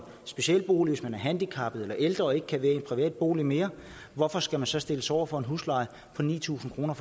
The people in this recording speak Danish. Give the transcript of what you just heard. specialbolig som handicappet eller ældre og ikke kan være i en privat bolig mere hvorfor skal man så stilles over for en husleje på ni tusind kroner